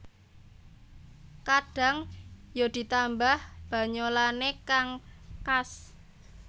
Kadhang ya ditambah banyolanne kang khas